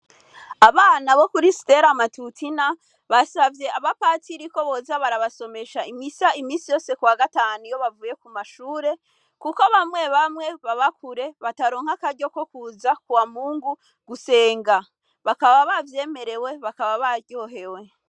Abana bo kuri stela amatutina basavye aba patsiriko boza barabasomesha imisa imisi yose kwa gataniyo bavuye ku mashure, kuko bamwe bamwe babakure bataronka akaryo ko kuza kuwamungu gusenga bakaba bavyemerewe bakaba baryohewe.